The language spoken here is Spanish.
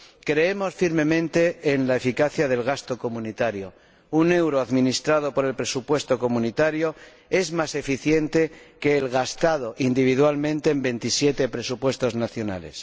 Creemos firmemente en la eficacia del gasto comunitario. Un euro administrado por el presupuesto comunitario es más eficiente que el gastado individualmente en veintisiete presupuestos nacionales.